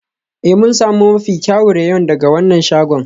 Ee, mun sami mafi kyawun rayon daga wannan shagon.